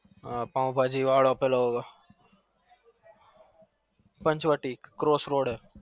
પાઉં ભાજી વારો પેલો Panchavati cross road